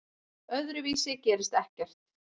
Öðruvísi gerist ekkert.